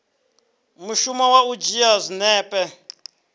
mushumo wa u dzhia zwinepe